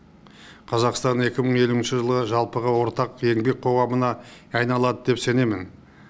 қазақстан екі мың елуінші жылы жалпыға ортақ еңбек қоғамына айналады деп сенемін